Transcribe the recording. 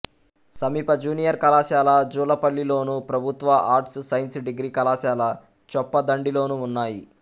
సమీప జూనియర్ కళాశాల జూలపల్లిలోను ప్రభుత్వ ఆర్ట్స్ సైన్స్ డిగ్రీ కళాశాల చొప్పదండిలోనూ ఉన్నాయి